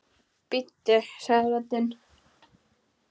Bíddu sagði röddin.